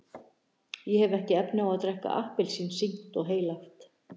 ég hef ekki efni á að drekka appelsín sýknt og heilagt.